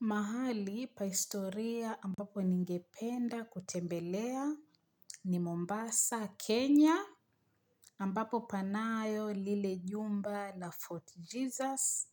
Mahali pa historia ambapo ningependa kutembelea ni Mombasa, Kenya, ambapo panayo lile jumba la Fort Jesus.